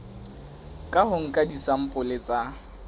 ka ho nka disampole tsa